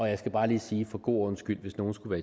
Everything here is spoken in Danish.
jeg skal bare lige sige for god ordens skyld hvis nogen skulle